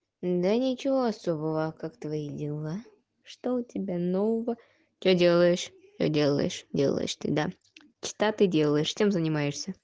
да ничего особого как твои дела что у тебя нового что делаешь делаешь делаешь ты да что ты делаешь чем занимаешь